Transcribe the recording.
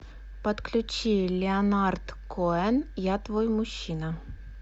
подключи леонард коэн я твой мужчина